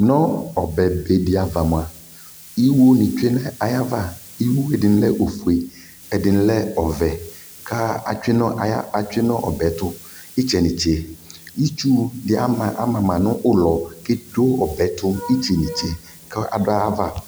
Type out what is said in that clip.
Nu ɔbɛbee diava mua, iiwuo nii twee nayava iwuo ɛdini lɛ ofue ɛdini lɛ ɔvɛ ka atwee nu ɔbɛɛtu itse nitse itsu di amama nu ulɔ ketwee ɔbɛɛtu itse nitse kaduaava